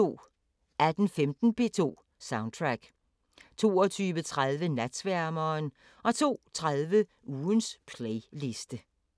18:15: P2 Soundtrack 22:30: Natsværmeren 02:30: Ugens playliste